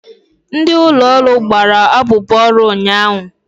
Ndị ụlọ ọrụ gbara abụbọ ọrụ ụnyaahụ.